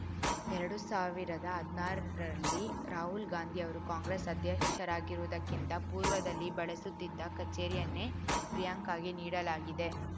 ಎರಡು ಸಾವಿರದ ಹದ್ನಾರರಲ್ಲಿ ರಾಹುಲ್‌ ಗಾಂಧಿ ಅವರು ಕಾಂಗ್ರೆಸ್‌ ಅಧ್ಯಕ್ಷರಾಗುವುದಕ್ಕಿಂತ ಪೂರ್ವದಲ್ಲಿ ಬಳಸುತ್ತಿದ್ದ ಕಚೇರಿಯನ್ನೇ ಪ್ರಿಯಾಂಕಾಗೆ ನೀಡಲಾಗಿದೆ